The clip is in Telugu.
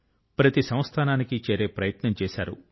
ప్రతి సంస్థానాని కి చేరే ప్రయత్నం చేశారు